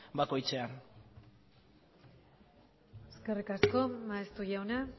bakoitzean eskerrik asko maeztu jauna